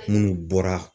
Munnu bɔra